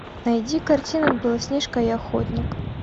найди картину белоснежка и охотник